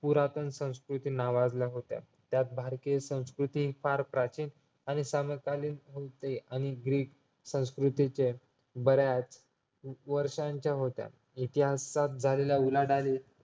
पुरातन संस्कृती नावाजला होत्या त्यात भारतीय संस्कृती फार प्राचीन आणि समकालीन होती आणि ग्रीक संस्कृतीचे बऱ्याच वर्षांच्या होत्या इतिहासात झालेल्या उलाढाली